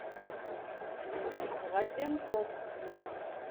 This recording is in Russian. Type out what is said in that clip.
разенков